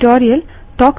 slide पर जाएँ